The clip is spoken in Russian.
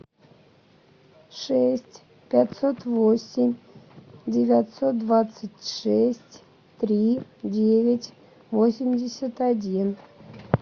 шесть пятьсот восемь девятьсот двадцать шесть три девять восемьдесят один